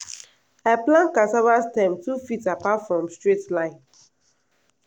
i plant cassava stem two feet apart for straight line.